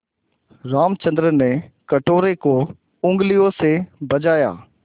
रामचंद्र ने कटोरे को उँगलियों से बजाया